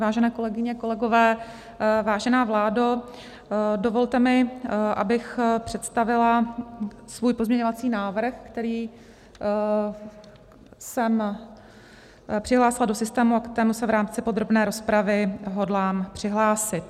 Vážené kolegyně, kolegové, vážená vládo, dovolte mi, abych představila svůj pozměňovací návrh, který jsem přihlásila do systému a ke kterému se v rámci podrobné rozpravy hodlám přihlásit.